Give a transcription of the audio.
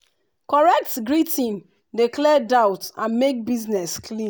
correct greeting dey clear doubt and make business clean.